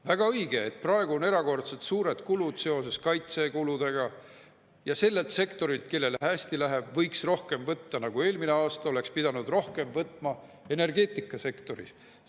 Väga õige, praegu on erakordselt suured kulud seoses kaitsekulutustega, ja sellelt sektorilt, kellel hästi läheb, võiks rohkem võtta, nagu eelmine aasta oleks pidanud võtma rohkem maksu energeetikasektorist.